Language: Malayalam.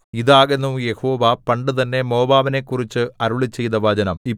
ഇതാകുന്നു യഹോവ പണ്ടുതന്നെ മോവാബിനെക്കുറിച്ച് അരുളിച്ചെയ്ത വചനം